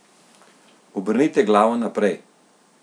Obrnite glavo naprej.